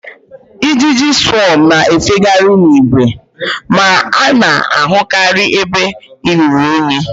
Ijiji swọm na-efekarị n'ìgwè, ma a na-ahụkarị ebe ihe ruru unyi